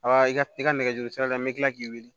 Aa i ka i ka nɛgɛjuru sira n bɛ kila k'i wili